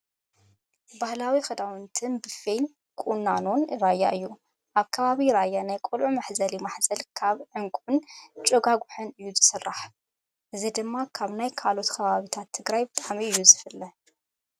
ባህላዊ ክዳውንት በፌን ቁናኖን ራያ እዩ። ኣብ ከባቢ ራያ ናይ ቆልዑ መሕዘሊ ማህዘል ካብ እንቁን ጭጓጉሕን እዩ ዝስርሕ። እዚ ድማ ካብ ናይ ካልኦት ከባቢታት ትግራይ ብጣዕሚ እዩ ዝፍለይ።